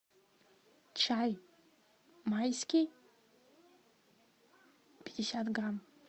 чай майский пятьдесят грамм